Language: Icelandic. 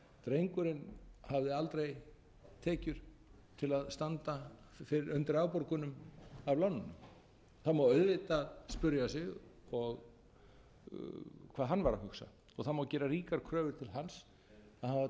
drengurinn hafði aldrei tekjur til að standa undir afborgunum af láninu það má auðvitað spyrja sig hvað hann vara að hugsa það má gera ríkar kröfur til hans að hafa